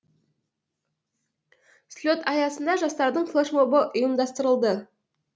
слет аясында жастардың флешмобы ұйымдастырылды